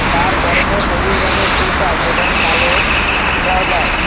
তার পরনে সবুজ রঙের টিশার্ট এবং কালো ট্রাউজার ।